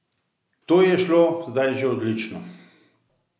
To ji je šlo zdaj že odlično.